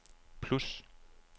plus